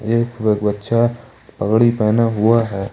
एक बच्चा पगड़ी पहना हुआ है।